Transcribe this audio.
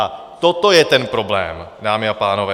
A toto je ten problém, dámy a pánové.